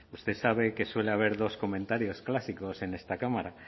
usted sabe que suele haber dos comentarios clásicos en esta cámara